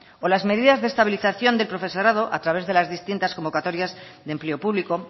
o las medidas de estabilización de profesorado a través de las distintas convocatorias de empleo público